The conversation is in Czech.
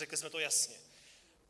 Řekli jsme to jasně.